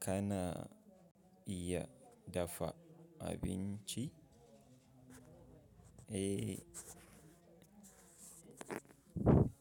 Kana iya dafa abinci? Eh,